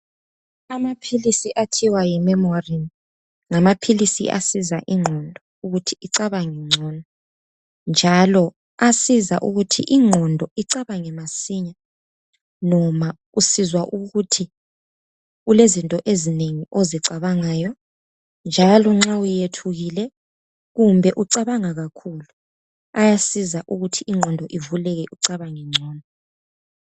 Amaphilisi athiwa yiMEMORIN ngamaphilisi asiza ingqondo ukuthi icabange ngcono njalo asiza ukuthi ingqondo icabange masinya noma usizwa ukuthi kulezinto ezinengi ozicabangayo njalo nxa uyethukile kumbe ucabanga kakhulu. Ayaziza ukuthi ingqondo ivuleke ucabange ngcono.